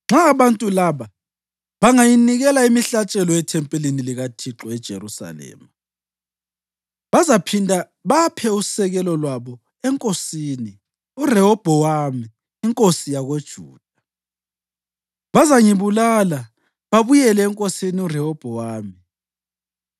Nxa abantu laba bangayanikela imihlatshelo ethempelini likaThixo eJerusalema, bazaphinda baphe usekelo lwabo enkosini, uRehobhowami inkosi yakoJuda. Bazangibulala babuyele enkosini uRehobhowami.”